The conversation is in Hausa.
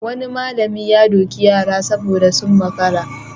Wani malami ya doki yara saboda sun makara.